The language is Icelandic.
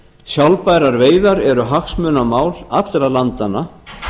sjálfbærar veiðar eru hagsmunamál allra landanna